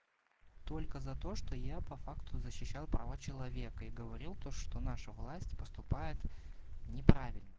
только за то что я по факту защищал права человека и говорил то что наша власть поступает неправильно